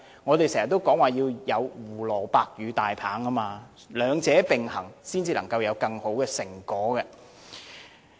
我們經常說要有胡蘿蔔與大棒，兩者並行才會有更好的成果。